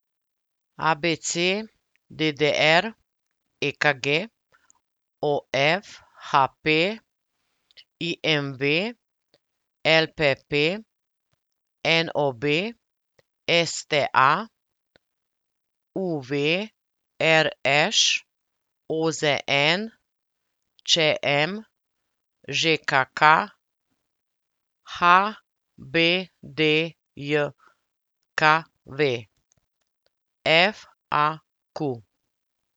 A B C; D D R; E K G; O F; H P; I M V; L P P; N O B; S T A; U V; R Š; O Z N; Č M; Ž K K; H B D J K V; F A Q.